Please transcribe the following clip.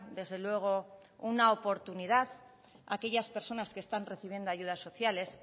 desde luego una oportunidad a aquellas personas que están recibiendo ayudas sociales